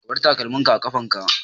Ka bar takalmin ka a ƙafan ka!